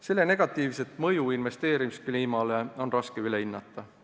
Selle negatiivset mõju investeerimiskliimale on raske üle hinnata.